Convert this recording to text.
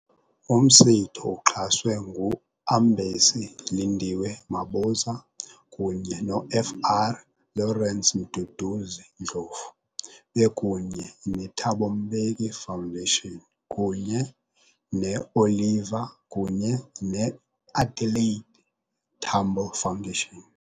Umsitho uxhaswe ngu-Ambesi Lindiwe Mabuza kunye no-Fr Lawrence Mduduzi Ndlovu, bekunye ne-Thabo Mbeki Foundation kunye ne-Oliver kunye ne-Adelaide Tambo Foundation.